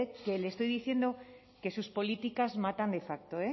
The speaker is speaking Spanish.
que le estoy diciendo que sus políticas matan de facto